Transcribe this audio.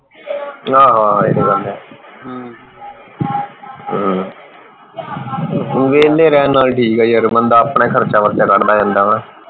ਆਹੋ ਆਹੋ ਇਹ ਤਾਂ ਗੱਲ ਹੈ ਹਮ ਵੇਹੇਲੇ ਰਹਿਣ ਨਾਲੋਂ ਠੀਕ ਹੈ ਯਾਰ ਬੰਦਾ ਆਪਣਾ ਖਰਚਾ ਵਰਚਾ ਕੱਢਦਾ ਰਹਿੰਦਾ ਵਾ